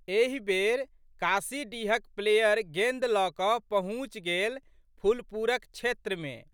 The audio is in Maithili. एहि बेर काशीडीहक प्लेयर गेंद लऽ कऽ पहुँचि गेल फुलपुरक क्षेत्रमे।